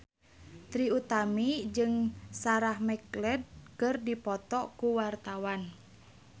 Trie Utami jeung Sarah McLeod keur dipoto ku wartawan